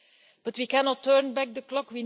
But we cannot turn back the clock.